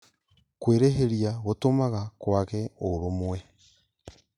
Kwĩrĩhĩria gũtũmaga kwage ũrũmwe